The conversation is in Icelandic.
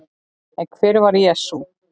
En hver var Jesús?